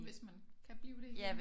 Hvis man kan blive det igen ikke